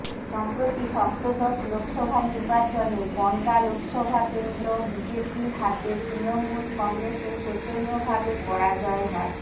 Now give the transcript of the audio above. সম্প্রতি সপ্তদশ লোকসভা নির্বাচনে বনগাঁ লোকসভা কেন্দ্র বিজেপির হাতে তৃণমূল কংগ্রেসের শোচনীয়ভাবে পরাজয় হয়